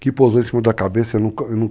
Que pousou em cima da cabeça.